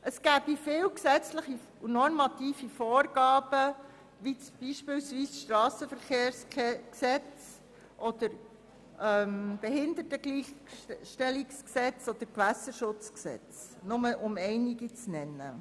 Es bestünden viele gesetzlich-normative Vorgaben wie beispielsweise das Strassenverkehrsgesetz (SVG), das Behindertengleichstellungsgesetz (BehiG) oder das Gewässerschutzgesetz (GSchG) – um nur einige zu nennen.